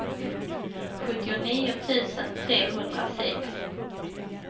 sjuttionio tusen trehundrasex